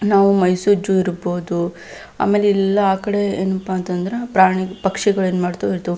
ನಾವು ಮೈಸು ಜು ಇರ್ಬಹುದು. ಆಮೇಲೆ ಇಲ್ಲಿ ಆಕಡೆ ಏನಪ್ಪಾ ಅಂತ ಅಂದ್ರೆ ಪ್ರಾಣಿ ಪಕ್ಷಿಗಳು ಏನ್ ಮಾಡ್ತವು ಇರ್ತವು.